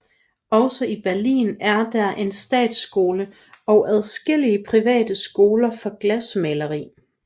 Også i Berlin er der en statsskole og adskillige private skoler for glasmaleri